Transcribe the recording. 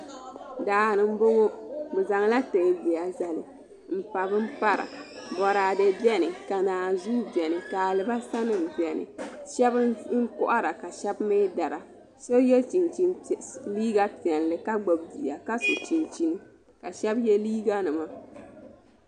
Daani n boŋo bi zaŋla teebuya zalu n pa bin para boraadɛ biɛni ka naanzuu biɛni ka alibarisa nim biɛni shab n kohara ka shab mii dara so yɛ liiga piɛlli ka gbubi bia ka so chinchin ka shab yɛ liiga nima